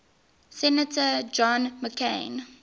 senator john mccain